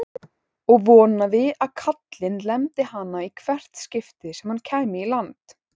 Og vonaði að kallinn lemdi hana í hvert skipti sem hann kæmi í land!